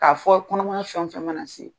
K'a fɔ kɔnɔmaya fɛn o fɛn mana se.